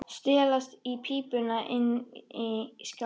Stelast í pípuna inni í skáp.